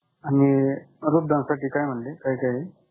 आणि वृद्धांसाठी काय म्हंटले? काय काय आहे?